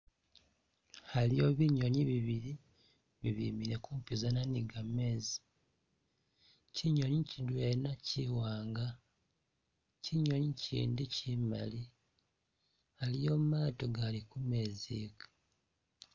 Khaliwo binyonyi bibili bibimile kumpizana ni gamezi, kyinyonyi kyidwena kyi wanga, kyinyonyi ikyindi kyi maali, aliwo maato agali kumezi iga.